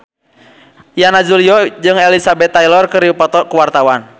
Yana Julio jeung Elizabeth Taylor keur dipoto ku wartawan